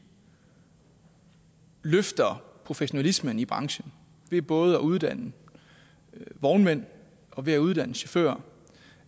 løfter professionalismen i branchen ved både at uddanne vognmænd og ved at uddanne chauffører